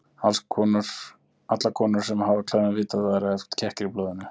Allar konur sem hafa á klæðum vita að það eru oft kekkir í blóðinu.